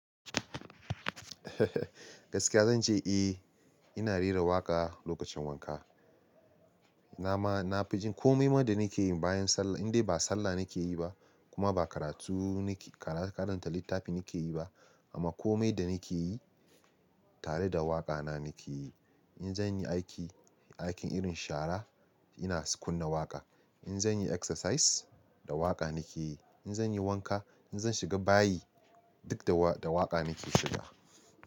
Gaskiya zan ce eh, ina rera waƙa lokacin wanka. Na ma, na fi jin komai ma da nake yi bayan sallah in dai ba sallah nake yi ba kuma ba karatu nake, karanta littafi nake yi ba amma komai da nake yi tare da waƙa na nake yi. In zan yi aiki, aikin irin shara ina kunna waƙa. In zan yi exercise da waƙa nake yi. In zan yi wanka, in zan shiga bayi duk da waƙa nake shiga.